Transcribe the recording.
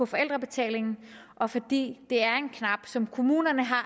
forældrebetalingen og fordi det er en knap som kommunerne har